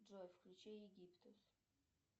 джой включи египтус